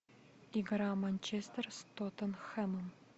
игра манчестер с тоттенхэм